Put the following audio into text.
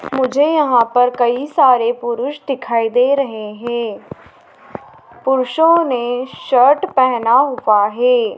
मुझे यहाँ पर कई सारे पुरुष दिखाई दे रहें हैं पुरुषों ने शर्ट पेहना हुवा हैं।